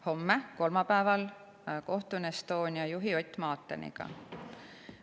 Homme, kolmapäeval kohtun Estonia juhi Ott Maateniga.